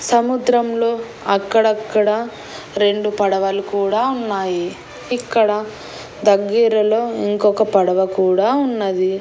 సముద్రం లో అక్కడక్కడ రెండు పడవలు కూడా ఉన్నాయి ఇక్కడ దగ్గిరలో ఇంకొక పడవ కూడా ఉన్నది.